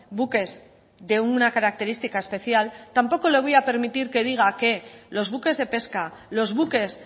buques de una característica especial tampoco le voy a permitir que diga que los buques de pesca los buques